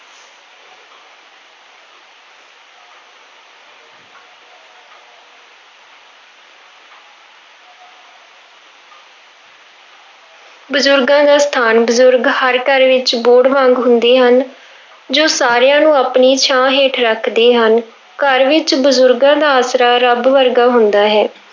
ਬਜ਼ੁਰਗਾਂ ਦਾ ਸਥਾਨ, ਬਜ਼ੁਰਗ ਹਰ ਘਰ ਵਿੱਚ ਬੋਹੜ ਵਾਂਗ ਹੁੰਦੇ ਹਨ, ਜੋ ਸਾਰਿਆਂ ਨੂੰ ਆਪਣੀ ਛਾਂ ਹੇਠ ਰੱਖਦੇ ਹਨ, ਘਰ ਵਿੱਚ ਬਜ਼ੁਰਗਾਂ ਦਾ ਆਸਰਾ ਰੱਬ ਵਰਗਾ ਹੁੰਦਾ ਹੈ।